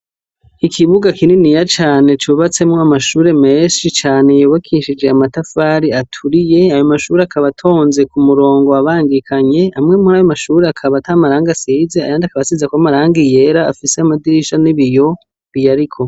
Ikibuga kininiya cane cubatsemwo amashure menshi cane yubakishijwe amatafari aturiye, ayo amshure akaba atonze ku murongo abangikanye amwe muri ayo mashure akaba ata matrangi asize ayandi akaba asizeko amarangi yera afise amadirisha n'ibiyo biyariko.